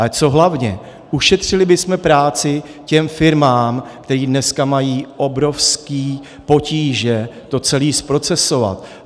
Ale co hlavně, ušetřili bychom práci těm firmám, které dnes mají obrovské potíže to celé zprocesovat.